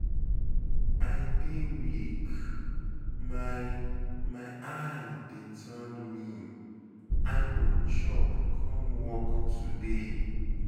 I dey weak, my my eye dey turn me, I no chop come work today.